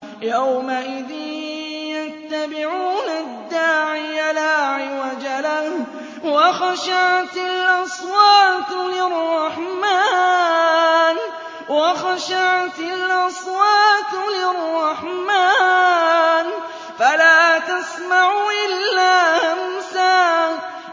يَوْمَئِذٍ يَتَّبِعُونَ الدَّاعِيَ لَا عِوَجَ لَهُ ۖ وَخَشَعَتِ الْأَصْوَاتُ لِلرَّحْمَٰنِ فَلَا تَسْمَعُ إِلَّا هَمْسًا